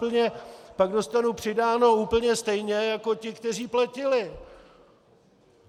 Pak dostanu přidáno úplně stejně jako ti, kteří platili.